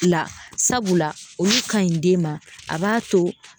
La sabula olu ka ɲi den ma a b'a to